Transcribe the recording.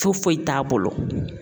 Foyi foyi t'a bolo